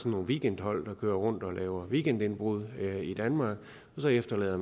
nogle weekendhold der kører rundt og laver weekendindbrud i danmark og så efterlader